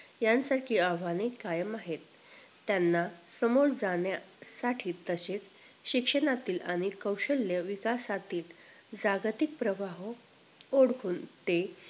यांसारखी आव्हाने कायम आहेत त्यांना समोर जाण्यासाठी तसेच शिक्षणाचे कैशल्य विकासातील जागतिक प्रवाह ओढवून ते